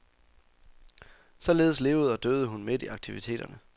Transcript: Således levede og døde hun midt i aktiviterne.